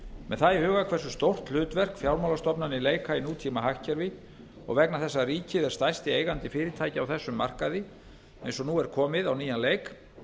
með það í huga hversu stórt hlutverk fjármálastofnanir leika í nútímahagkerfi og vegna þess að ríkið er stærsti eigandi fyrirtækja á þessum markaði eins og nú er komið á nýjan leik